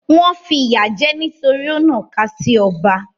Wọ́n fìyà jẹ ẹ́ nítorí ó nàka sí ọba.